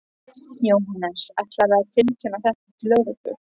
Jóhannes: Ætlarðu að tilkynna þetta til lögreglu?